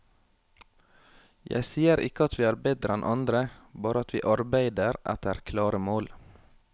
Jeg sier ikke at vi er bedre enn andre, bare at vi arbeider etter klare mål.